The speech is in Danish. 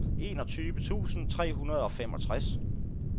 enogtyve tusind tre hundrede og femogtres